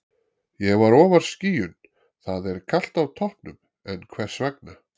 Ég var ofar skýjun Það er kalt á toppnum, en hvers vegna?